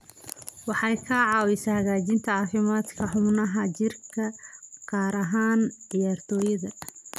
Waxay ka caawisaa hagaajinta caafimaadka xubnaha jirka, gaar ahaan ciyaartoyda.